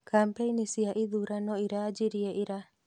Kampaini cia ithurano irajirie ira